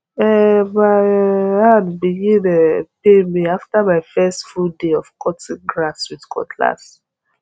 um my um hand begin um pain me after my first full day of cutting grass with cutlass